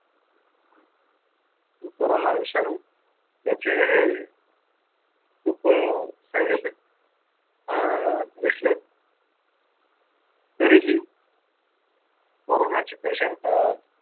corona विषाणू त्याचे खूप अं side effect अं दिसले, तरीही कोरोनाचे patient